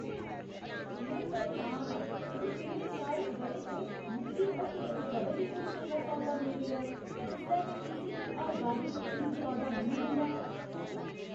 में परेशान आं जे इ'नें सारे ब'रें च मिगी हट्टियें च कदें बी कोई चंगा सौदा नेईं मिलेआ जिसलै के तुसें गी हर बारी इक सौदा मिली जंदा ऐ।